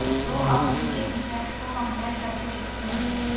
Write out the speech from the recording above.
तो अब इनके फीचर्स को कंपेयर करके देखते हैं